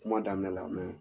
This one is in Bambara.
Kuma daminɛ la